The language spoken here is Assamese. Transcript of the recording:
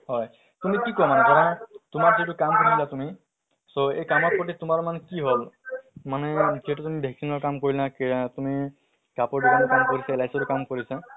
হয় । কিন্তু কি কম আৰু ধৰা তোমাৰ সিটো কাম কৰিলে তুমি so এই কামৰ প্ৰতি তোমাৰ মান কি হল? মানে সেইটো তুমি vaccine ৰ কাম কৰিলা কেয়া তুমি কাপোৰ দুকানত কাম কৰিছা LIC তো কাম কৰিছা